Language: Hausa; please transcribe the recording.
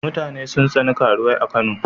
Mutane sun tsani karuwai a Kano.